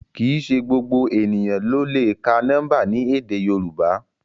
Kìí ṣe gbogbo eniyan lo le ka nọmba ni èdè yorùbá